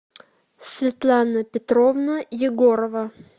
светлана петровна егорова